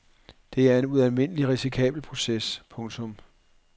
Det er en ualmindelig risikabel proces. punktum